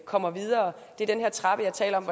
kommer videre det er den her trappe jeg talte om